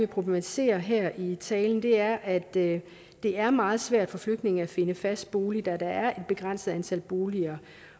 problematisere her i min tale er at det er meget svært for flygtninge at finde fast bolig da der er et begrænset antal boliger